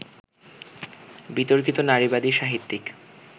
বিতর্কিত নারীবাদী সাহিত্যিক